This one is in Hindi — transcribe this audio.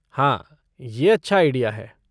हाँ, ये अच्छा आईडिया है।